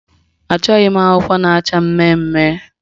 Achọghị m akwụkwọ na-acha mmemmme